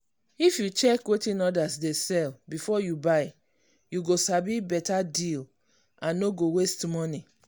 if you check wetin others dey sell before you buy you go sabi better deal and no go waste money.